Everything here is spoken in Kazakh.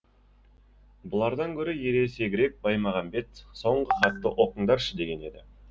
бұлардан гөрі ересегірек баймағамбет соңғы хатты оқыңдаршы деген еді